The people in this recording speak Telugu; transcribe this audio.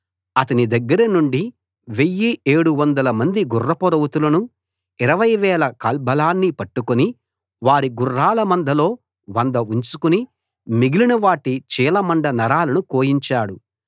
అతని దగ్గరనుండి వెయ్యీ ఏడు వందల మంది గుర్రపు రౌతులను ఇరవై వేల కాల్బలాన్ని పట్టుకుని వారి గుర్రాల మందలో వంద ఉంచుకుని మిగిలినవాటి చీలమండ నరాలను కోయించాడు